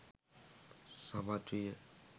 සමත් විය.